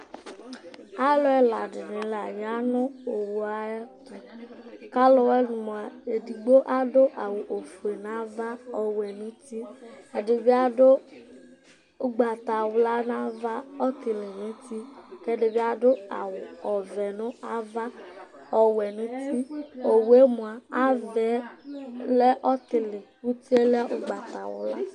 aluela dini laya nu owua yɛtu kawẽlu mua édigbo adũawũ ofụé nava ɔwũẽ nuntɨ ɛdibiadu ugbata wlua na vă ɔtiĩli nu tï kɛdibiadu awũ ɔvɛ nu ava ɔwɛ nuti õwué mua avẽ lɛ ɔtilï utié lɛ ụgbatawla